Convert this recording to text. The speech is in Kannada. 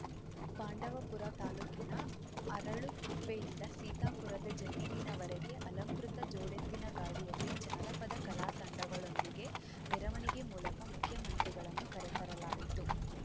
ಪಾಂಡವಪುರ ತಾಲೂಕಿನ ಅರಳುಕುಪ್ಪೆಯಿಂದ ಸೀತಾಪುರದ ಜಮೀನಿನವರೆಗೆ ಅಲಂಕೃತ ಜೋಡೆತ್ತಿನಗಾಡಿಯಲ್ಲಿ ಜಾನಪದ ಕಲಾ ತಂಡಗಳೊಂದಿಗೆ ಮೆರವಣಿಗೆ ಮೂಲಕ ಮುಖ್ಯಮಂತ್ರಿಗಳನ್ನು ಕರೆತರಲಾಯಿತು